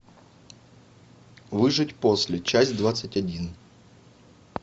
выжить после часть двадцать один